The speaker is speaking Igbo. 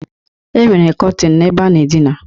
E nwere kọtin n'ebe a na-adịna.